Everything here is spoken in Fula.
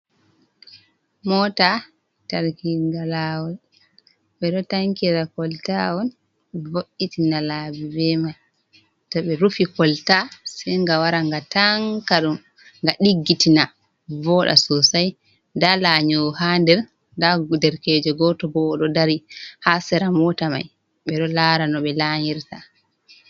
Mota. Tarkirnga lawol, ɓeɗoo tankira kwalta on vo'itina labi be man, to ɓee rufi kwalta se ngawara nga tanka ɗum nga ɗikkitina voɗa sosai, nda lanyowo ha nder, nda derekejo gotobo ɗoo dari oɗoo dari ha sera mota mai ɓe ɗoo lara no ɓe lanyirta.